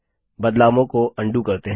बदलावों को अन्डू करते हैं